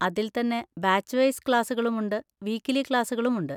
അതിൽ തന്നെ batch wise ക്ലാസ്സുകളും ഉണ്ട്, വീക്കിലി ക്ലാസ്സുകളും ഉണ്ട്.